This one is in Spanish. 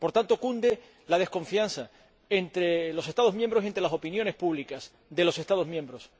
Por tanto, cunde la desconfianza entre los Estados miembros y entre las opiniones públicas de los Estados miembros.